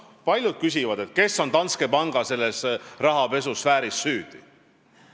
Paljud küsivad, kes on selles Danske Banki rahapesuafääris süüdi.